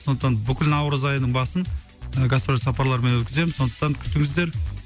сондықтан бүкіл наурыз айының басын ы гастрольдік сапарлармен өткіземін сондықтан күтіңіздер